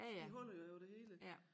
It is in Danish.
De holder jo over det hele